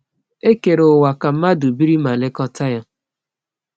E kere ụwa ka mmadụ biri ma lekọta ya.